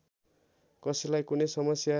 कसैलाई कुनै समस्या